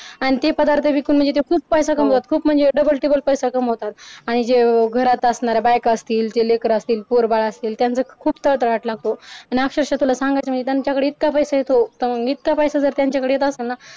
आणि ते पदार्थ विकून म्हणजे ते खूप पैसा कमावतात खूप म्हणजे डबल टिबल पैसा कमावतात आणि जे घरात असणाऱ्या बायका असतील ते लेकरं असतील पोर बाळ असतील त्यांचं खूप तळतळाट लागतो. आणि अक्षरशा तुला सांगायचं म्हणजे त्यांच्याकडे इतका पैसा येतो तर मग इतका पैसा त्यांच्याकडे येत असल ना